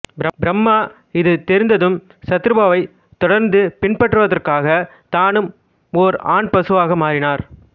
பிரம்மா இது தெரிந்ததும் சதருபாவைத் தொடர்ந்து பின்பற்றுவதற்காக தானும் ஓர் ஆண் பசுவாக மாறினார்